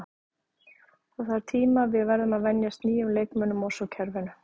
Það þarf tíma, við verðum að venjast nýjum leikmönnum og svo kerfinu.